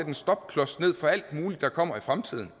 en stopklods ned for alt muligt der kommer i fremtiden